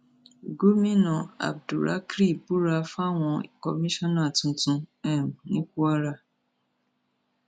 gomina abdurakry búra fáwọn kọmíṣánná tuntun um ní kwara